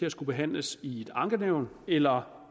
at skulle behandles i et ankenævn eller